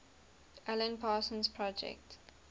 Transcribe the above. alan parsons project